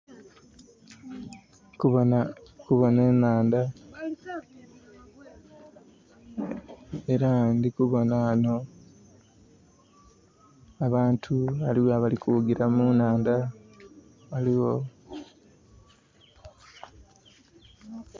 Ndhi kubona, kubona enhandha. Era ndhi kubona ghano abantu ghaligho abali kughugila mu nhandha. Ghaligho...